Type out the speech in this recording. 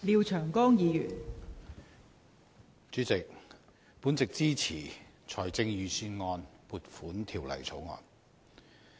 代理主席，我支持《2017年撥款條例草案》。